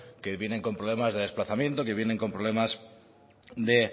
que vienen con problemas de desplazamiento que vienen con problemas de